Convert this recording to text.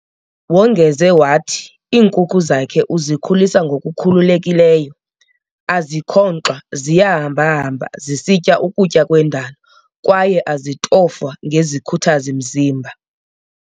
Wongeze wathi iinkukhu zakhe uzikhulisa ngokukhululekileyo, azikhonkxwa ziyahamba-hamba zisitya ukutya kwendalo kwaye azitofwa ngezikhuthazi-mzimba.